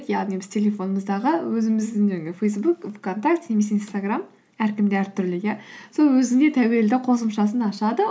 яғни біз телефонымыздағы өзіміздің жаңағы фейсбук вконтакте немесе инстаграм әркімге әртүрлі иә сол өзіне тәуелді қосымшасын ашады